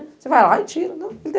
Você vai lá e tira. Não